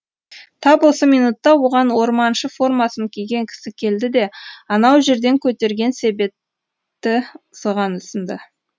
тап осы минутта оған орманшы формасын киген кісі келді де анау жерден көтерген себетті соған ұсынды